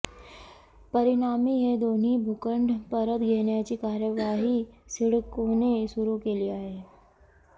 परिणामी हे दोन्ही भूखंड परत घेण्याची कार्यवाही सिडकोने सुरू केली आहे